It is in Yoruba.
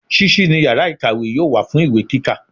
Sísí ni yàrá ìkàwé yóò wà fún ìwé kíkà